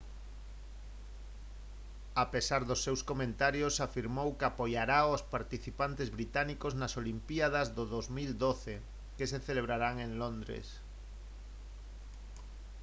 a pesar dos seus comentarios afirmou que apoiará aos participantes británicos nas olimpíadas do 2012 que se celebrarán en londres